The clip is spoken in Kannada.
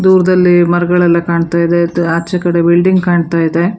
ದೂರದಲ್ಲಿ ಮರಗಳೆಲ್ಲಾ ಕಾಣ್ತಾ ಇದೆ ಆಚೆ ಕಡೆ ಬಿಲ್ಡಿಂಗ್ ಕಾಣ್ತಾ ಇದೆ.